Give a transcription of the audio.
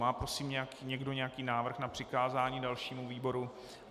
Má, prosím, někdo nějaký návrh na přikázání dalšímu výboru?